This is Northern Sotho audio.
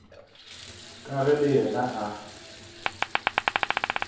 ka ge le yena a